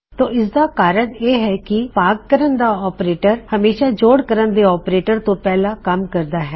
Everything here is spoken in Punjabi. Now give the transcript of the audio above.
ਤੋ ਇਸਦਾ ਕਾਰਨ ਇਹ ਹੈ ਕੀ ਭਾਗ ਕਰਨ ਦਾ ਆਪਰੇਟਰ ਹਮੇਸ਼ਾ ਜੋੜ ਕਰਨ ਦੇ ਆਪਰੇਟਰ ਤੋਂ ਪਹਿਲਾ ਕੰਮ ਕਰਦਾ ਹੈ